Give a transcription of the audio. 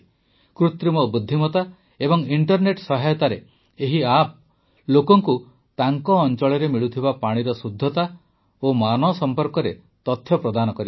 କୃତ୍ରିମ ବୁଦ୍ଧିମତା ଏବଂ ଇଂଟରନେଟ୍ ସହାୟତାରେ ଏହି ଆପ୍ ଲୋକଙ୍କୁ ତାଙ୍କ ଅଂଚଳରେ ମିଳୁଥିବା ପାଣିର ଶୁଦ୍ଧତା ଓ ମାନ ସମ୍ପର୍କରେ ତଥ୍ୟ ପ୍ରଦାନ କରିବ